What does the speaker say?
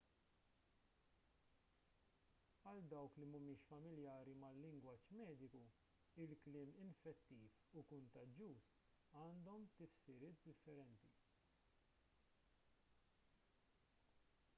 għal dawk li mhumiex familjari mal-lingwaġġ mediku il-kliem infettiv u kuntaġġuż għandhom tifsiriet differenti